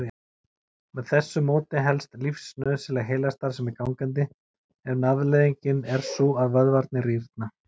Með þessu móti helst lífsnauðsynleg heilastarfsemi gangandi en afleiðingin er sú að vöðvarnir rýrna.